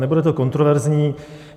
Nebude to kontroverzní.